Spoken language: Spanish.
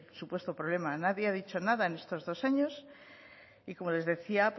supuesto problema nadie ha dicho nada en estos dos años y como les decía